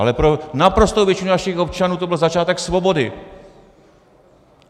Ale pro naprostou většinu našich občanů to byl začátek svobody.